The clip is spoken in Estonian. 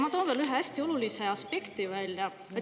Ma toon veel ühe hästi olulise aspekti välja.